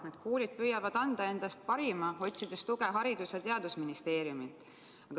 Need koolid püüavad anda endast parima, otsides tuge Haridus- ja Teadusministeeriumilt.